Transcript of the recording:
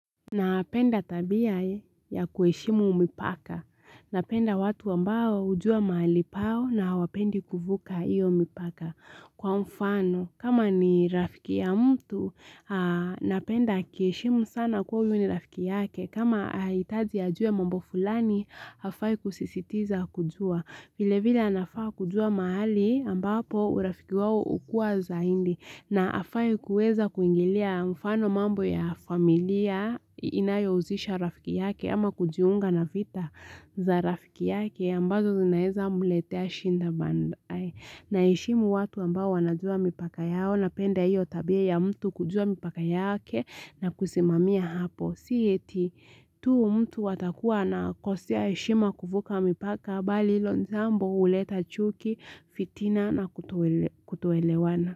Napenda tabia ya kuheshimu mipaka. Napenda watu ambao ujua mahali pao na wapendi kuvuka iyo mipaka. Kwa mfano, kama ni rafiki ya mtu, napenda aki heshimu sana kwa uyu ni rafiki yake. Kama hahitaji ajue mambo fulani, hafai kusisitiza kujua. Vile vile anafaa kujua mahali ambapo urafiki wao ukuwa zaidi na hafai kueza kuingilia mfano mambo ya familia inayohusisha rafiki yake ama kujiunga na vita za rafiki yake ambazo zinaeza mletea shida baadae. Na heshimu watu ambao wanajua mipaka yao napenda iyo tabia ya mtu kujua mipaka yake na kusimamia hapo. Si yeti tu mtu watakuwa na kosea heshima kuvuka mipaka bali hilo jambo huleta chuki, fitina na kutoelewana.